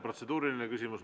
Protseduuriline küsimus.